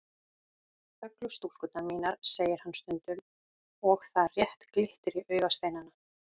Þöglu stúlkurnar mínar, segir hann stundum og það rétt glittir í augasteinana.